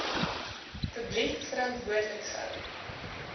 publiek verantwoordelik gehou